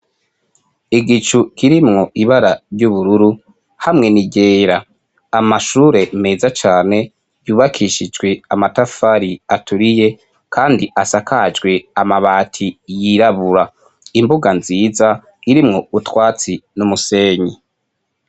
igicu kirimwo ibara ry'ubururu hamwe niryera amashure meza cane yubakishijwe amatafari aturiye kandi asakajwe amabati yirabura imbuga nziza irimwo utwatsi n'umusenyi